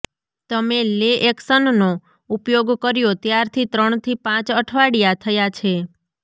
તમે લે એક્શનનો ઉપયોગ કર્યો ત્યારથી ત્રણથી પાંચ અઠવાડિયા થયા છે